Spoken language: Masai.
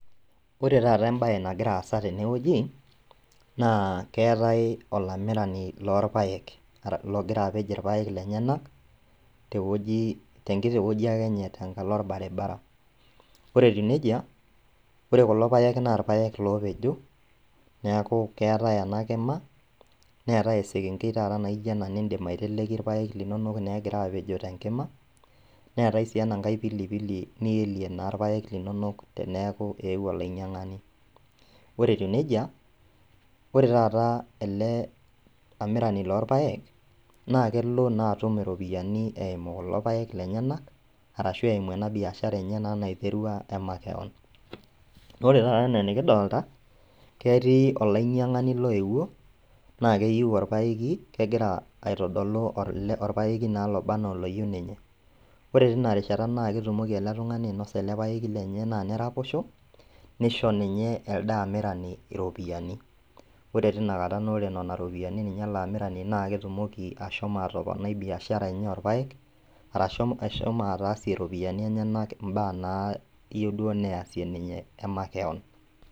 Ore taata ebae nagira aasa teneweji naa keetae olamirani loo irpaek, logira apej irpaek lenyenak teweji tenkiti weji ake enye tenkalo orbaribara. Ore etiu neija ore kulo paek na irpaek lopejo neeku keetae ena kima neetae esekenkei naijo ena niteleki irpeak linonok naa egira apejo tenkima. Neetae sii enanke pilipili niilie naa irpaek linonok teneaku eweuo olainyang'ani. Ore etiu neija, ore taata ele amirani loo irpaek, naa kelo naa atum iropiani eimu kulo paek lenyenak, arashu eimu enaa biashara enye naiterua naa makeon. Ore naa enikidolita ketii olainyang'ani loeuo na keyeu orpaeki, kegira aitodolu orpeeki na loba anaa oloyeu ninye. Ore tina rishata naa ketumoki ele tung'ani ainosa ele paeki lenye na neraposho, nisho ninye elde amirani iropiani. Ore tina kata naa ore nena ropiani na ele amirani naa ketumoki ashomo atoponai biashara enye orpaek arashu ashomo atasie iropiani enyenak ibaa naaduo nayeu neyasie ninye emakeon.